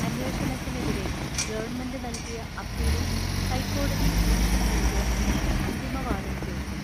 അന്വേഷണത്തിനെതിരെ government നൽകിയ അപ്പീലിൽ ഹൈക്കോടതി ഡിവിഷൻ ബെഞ്ച് ഇന്ന് അന്തിമവാദം കേൾക്കും.